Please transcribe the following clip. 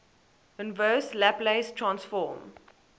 inverse laplace transform